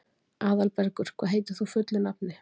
Aðalbergur, hvað heitir þú fullu nafni?